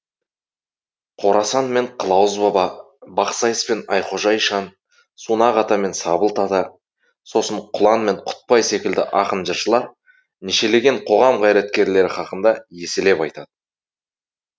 қорасан мен қылауыз баба бақсайыс пен айхожа ишан сунақ ата мен сабылт ата сосын құлан мен құтбай секілді ақын жыршылар нешелеген қоғам қайраткерлері хақында еселеп айтады